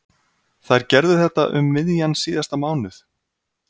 Þær gerðu þetta um miðjan síðasta mánuð.